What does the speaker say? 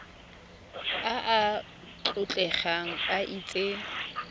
a a tlotlegang a itse